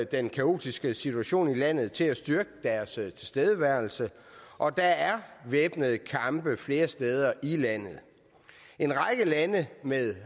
den kaotiske situation i landet til at styrke deres tilstedeværelse og der er væbnede kampe flere steder i landet en række lande med